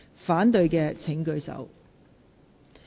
反對的請舉手。